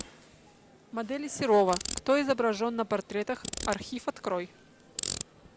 модели серова кто изображен на портретах архив открой